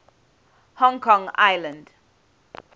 hong kong island